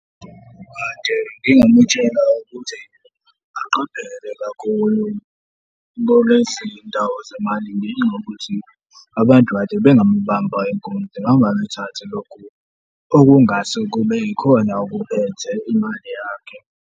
Kade ngingamutshela ukuthi aqaphele kakhulu ngoba ezinye izindawo zemali zinokuthi abantu kade bengamubamba inkunzi, bangaluthathi lokhu okungase kube ikona okuphethe imali yakhe.